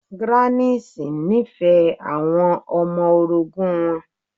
Grannis nífẹ̀ẹ́ àwọn ọmọ orogun wọn.